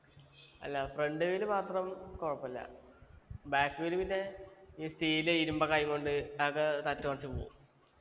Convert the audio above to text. അല്ല front wheel മാത്രം കൊഴപ്പില്ല back wheel പിന്നെ ഈ steel ഇരുമ്പൊക്കെ ആയിക്കൊണ്ട് ആകെ തട്ടിയോടിച്ചു പോവും